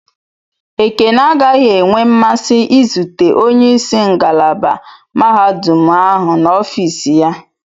Ekene agaghị enwe mmasị izute onye isi ngalaba mahadum ahụ na ofis ya.